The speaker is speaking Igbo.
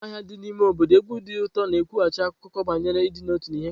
N'ámá ahịa dị n'ime ime obodo, egwu ndi uto na-ekwughachi akụkọ banyere ịdị n'otu na ihe nketa.